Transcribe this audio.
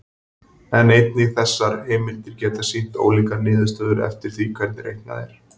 En einnig þessar heimildir geta sýnt ólíkar niðurstöður eftir því hvernig reiknað er.